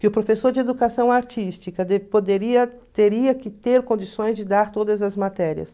Que o professor de educação artística poderia teria que ter condições de dar todas as matérias.